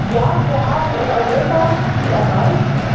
Ja, wir haben in Europa viel erreicht.